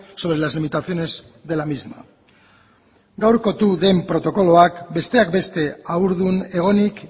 sobre las limitaciones de la misma gaurkotu den protokoloak besteak beste haurdun egonik